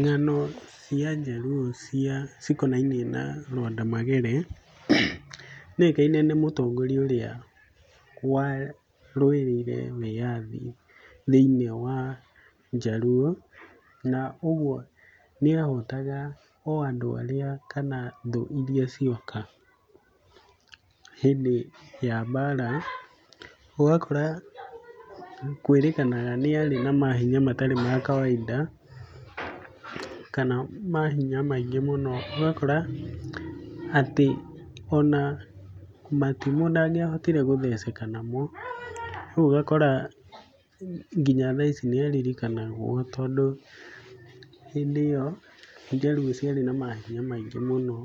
Ng'ano cia Njaruo cia cikonainie na Lwanda Magere, nĩoĩkaine nĩ mũtongoria ũrĩa warũĩrĩire wĩyathi thĩiniĩ wa Njaluo na ũguo nĩahotaga o andũ arĩa kana thũ iria cioka hĩndĩ ya mbara. Ũgakora kwĩrĩkanaga nĩarĩ na mahinya mataarĩ ma kawaida kana mahinya maingĩ mũno, ũgakora atĩ ona matimũ ndangĩahotire gũtheceka namo. Rĩu ũgakora nginya thaa ici nĩaririkanagwo tondũ hĩndĩ ĩyo Jaluo ciarĩ na mahinya maingĩ mũno